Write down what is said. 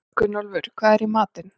Gunnólfur, hvað er í matinn?